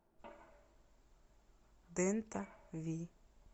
дента ви